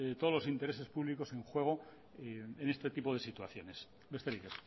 todos los intereses públicos en juego en este tipo de situaciones besterik